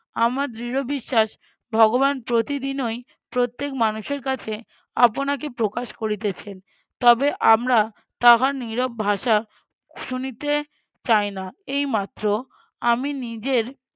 আমার দৃঢ় বিশ্বাস ভগবান প্রতিদিনওই প্রত্যেক মানুষের কাছে আপনাকে প্রকাশ করিতেছেন তবে আমরা তাহার নীরব ভাষা শুনিতে চাই না। এই মাত্র আমি নিজের